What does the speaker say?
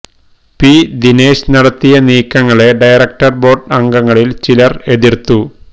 P Dinesh നടത്തിയ നീക്കങ്ങളെ director board അംഗങ്ങളിൽ ചിലർ എതിർത്തു